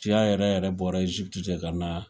Ciya yɛrɛ yɛrɛ bɔra Egypte de ka na